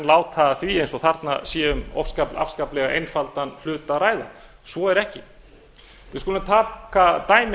láta að því eins og þarna sé um afskaplega einfaldan hlut að ræða svo er ekki við skulum taka dæmi